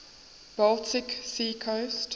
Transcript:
baltic sea coast